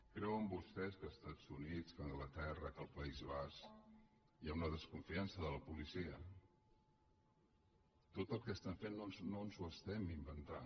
creuen vostès que als estats units que a anglaterra que al país basc hi ha una desconfiança de la policia tot el que estem fent no ens ho estem inventant